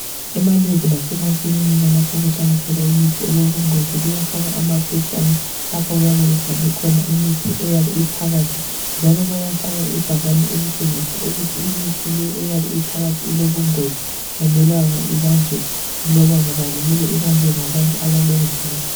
Emalebhu lasemakilinika lapho okuhlala khona imithi elobungozi kuyafakwa amaphetshana lapha okuyabe kubhalwekhona imithi eyabe iphakathi, njalo bayafaka ibhakani elitshengisa ukuthi imithi le eyabe iphakathi ilobungozi ayimelanga ibanjwe loba ngubani mele ibanjwe ngabantu abalemvumo.